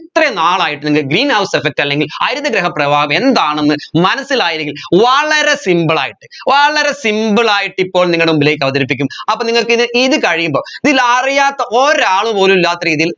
ഇത്രയും നാളായിട്ട് നിങ്ങൾ greenhouse effect അല്ലെങ്കിൽ ഹരിതഗൃഹ പ്രവാഹം എന്താണെന്ന് മനസ്സിലായിനെങ്കിൽ വളരെ simple ആയിട്ട് വളരെ simple ആയിട്ട് ഇപ്പോൾ നിങ്ങടെ മുമ്പിലേക്ക് അവതരിപ്പിക്കും അപ്പൊ നിങ്ങക്ക് ഇത് ഇത് കഴിയുമ്പോ ഇതിൽ അറിയാത്ത ഒരാൾ പോലും ഇല്ലാത്ത രീതിയിൽ